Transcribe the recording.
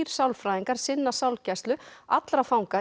sálfræðingar sinna sálgæslu allra fanga